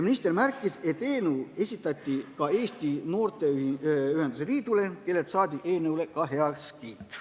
Minister märkis, et eelnõu esitati Eesti Noorteühenduste Liidule, kellelt saadi ka heakskiit.